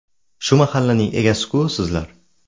Shu mahallaning egasi-ku sizlar!